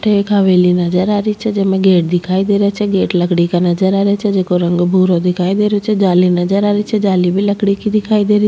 अठे एक हवेली नजर आ री छे जेमे एक गेट दिखाई दे रा छे गेट लकड़ी का नजर आ रेहो छे जेको रंग भूरो दिखाई दे रेहो छे जाली नजर आ रही छे जाली भी लकड़ी की --